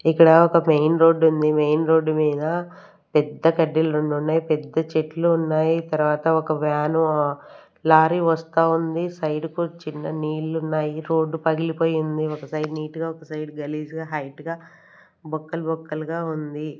ఇక్కడ ఒక main road ఉంది. మెయిన్ రోడ్ మీద పెద్ద కడ్డిలు రెండు ఉన్నాయి పెద్ద చెట్లు ఉన్నాయి తర్వాత ఒక వ్యాన్ ఆ లారీ వస్తా ఉంది సైడ్ కు చిన్న నీళ్లు ఉన్నాయి రోడ్డు పగిలిపోయింది ఒక సైడ్ నీట్ గా ఒక సైడ్ గలీజుగా హైట్ గా బొక్కలు బొక్కలుగా ఉంది.